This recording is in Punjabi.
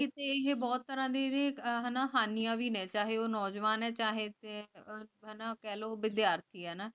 ਕੀਤੀ ਇਹ ਬਹੁਤ ਤਰ੍ਹਾਂ ਦੀਆਂ ਹਾਨੀਆਂ ਵੀ ਹੈ ਚਾਹੇ ਉਹ ਨੌਜਵਾਨ ਹੈ ਚਾਹੀ ਕਹ ਲੋ ਵਿਧ੍ਯਰਥੀ ਆਯ